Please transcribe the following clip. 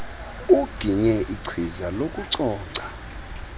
uginye ichiza lokucoca